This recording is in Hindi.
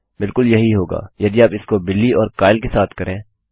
बिलकुल यही होगा यदि आप इस को बिली और काइल के साथ करें